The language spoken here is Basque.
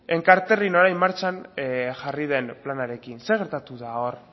enkarterrin orain martxan jarri den planarekin zer gertatu da hor